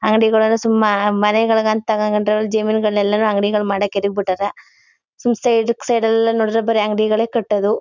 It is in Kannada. ಅಂಗಡಿಗಳು ಸುಂಬ ಮನೆಗಳಿಗಂತ ತಗೊಂಡ್ರೆ ಜಮೀನುಗಳನ್ನೆಲ್ಲ ನು ಅಂಗಡಿಗಳನ್ನು ಮಾಡಾಕೆ ತೆಗೆದುಬಿಟ್ಟಾರೇ ಸಂಸ್ಥೆಯ ಲೆಫ್ಟ್ ಸೈಡ್ ಎಲ್ಲ ನೋಡಿದ್ರೆ ಬರೀ ಅಂಗಡಿಗಳೇ ಕಟ್ಟೋದು.